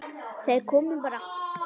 Þeir komu bara.